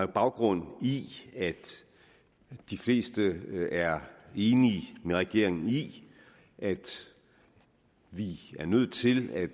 baggrund i at de fleste er enige med regeringen i at vi er nødt til at